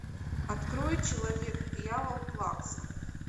открой человек дьявол плакса